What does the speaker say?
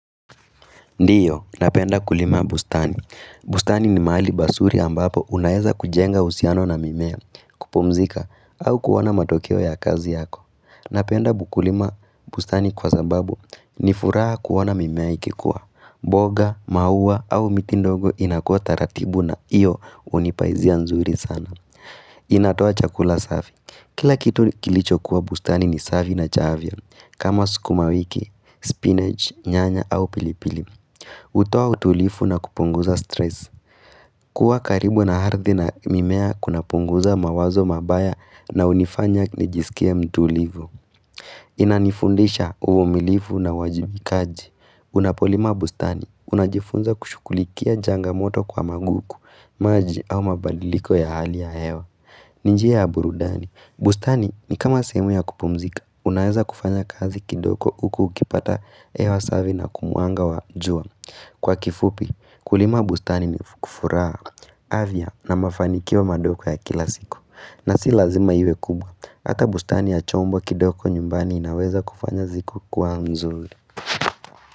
Ndiyo, napenda kulima bustani. Bustani ni mahali basuri ambapo unaeza kujenga uhusiano na mimea, kupumzika, au kuona matokeo ya kazi yako. Napenda bukulima bustani kwa zababu ni furaha kuona mimea ikikuwa. Boga, maua au miti ndogo inakuwa taratibu na iyo unipaizia nzuri sana. Inatoa chakula safi. Kila kitu kilicho kuwa bustani ni safi na chaavya, kama sukuma wiki, spinach, nyanya au pilipili. Utoa utulifu na kupunguza stress. Kuwa karibu na harithi na mimea kuna punguza mawazo mabaya na unifanya nijisikia mtuulivu. Inanifundisha uvumilivu na uwajibikaji. Unapolima bustani. Unajifunza kushukulikia janga moto kwa maguku, maji au mabadiliko ya hali ya hewa. Ninjia ya burudani, bustani ni kama sehemu ya kupumzika, unaweza kufanya kazi kidogo huku ukipata hewa savi na kumuanga wa njua Kwa kifupi, kulima bustani ni kufuraha avya na mafanikiwa madoko ya kila siku na si lazima iwe kubwa, ata bustani ya chombo kidoko nyumbani inaweza kufanya ziko kuwa mzuri.